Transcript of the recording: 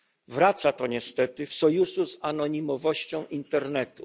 Wraca to niestety w sojuszu z anonimowością internetu.